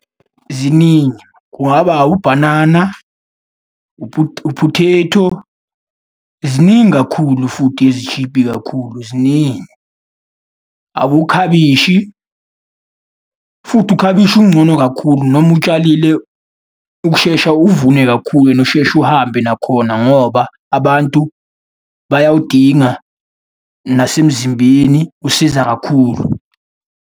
Ziningi, kungaba ubhanana u-potato. Ziningi kakhulu futhi ezishibhi kakhulu ziningi. Abokhabishi, futhi ukhabishi ungcono kakhulu noma utshalile, ukushesha uvune kakhulu and usheshe uhambe nakhona ngoba abantu bayawudinga, nasemzimbeni usiza kakhulu.